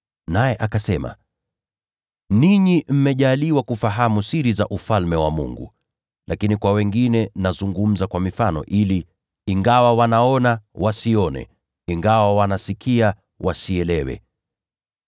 Naye akasema, “Ninyi mmepewa kufahamu siri za Ufalme wa Mungu, lakini kwa wengine nazungumza kwa mifano, ili, “ ‘ingawa wanatazama, wasione; ingawa wanasikiliza, wasielewe.’